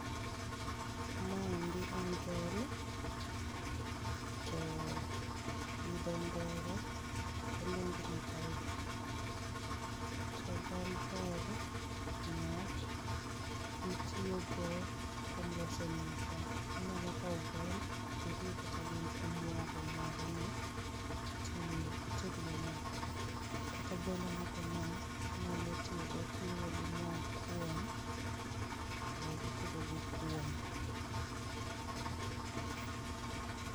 Maendi en bel to gi dho ngere waluonge ni barley to bel ber niwach itiyo go kuom loso nyuka, inyalo kaw bel tiruw kata gi omuogo moro ni ti ited go nyuka kata bel nogo no inyalo tiyogo kiriwo gi mok kuon to itedo go kuon